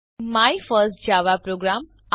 તમને my first Java programme